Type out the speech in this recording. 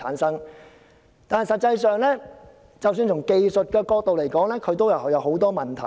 實際上，即使從技術角度來說，當中也有很多問題。